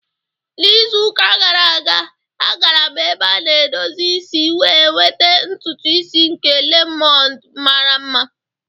N'izuka gara aga, agara m ebe a na-edozi isi wee nweta ntutu isi nke lemoned mara mma.